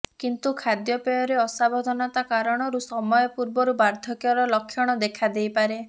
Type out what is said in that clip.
କିନ୍ତୁ ଖାଦ୍ୟ ପେୟରେ ଅସାବଧାନତା କାରଣରୁ ସମୟ ପୂର୍ବରୁ ବାର୍ଦ୍ଧକ୍ୟର ଲକ୍ଷଣ ଦେଖାଦେଇପାରେ